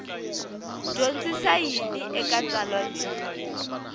dyondzisa yini eka tsalwa leri